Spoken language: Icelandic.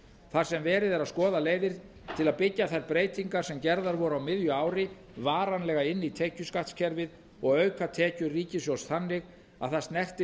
þar sem verið er að skoða leiðir til að byggja þær breytingar sem gerðar voru á miðju ári varanlega inn í tekjuskattskerfið og auka tekjur ríkissjóðs þannig að það snerti